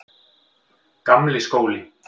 Gamli skóli